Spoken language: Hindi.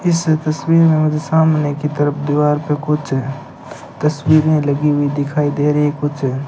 इस तस्वीर में मुझे सामने की तरफ दीवार पे कुछ तस्वीरे लगी हुई दिखाई दे रही है कुछ --